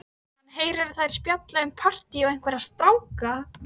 Hann heyrir að þær spjalla um partí og einhverja stráka.